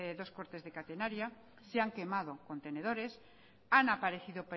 dos fuertes de catenaria se han quemado contenedores han aparecido